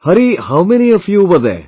Hari, how many of you were there